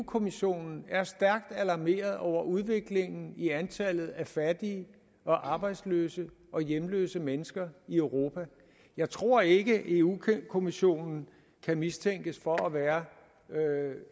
kommissionen er stærkt alarmeret over udviklingen i antallet af fattige og arbejdsløse og hjemløse mennesker i europa jeg tror ikke europa kommissionen kan mistænkes for at være